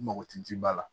N mago tɛ ji ba la